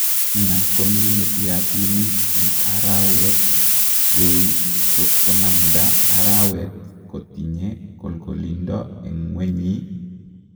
Chaina komine piasinig en arawet weny kot konamda arawet kotinye kolgolindo en ngwenyi?